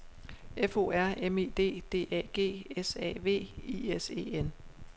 F O R M I D D A G S A V I S E N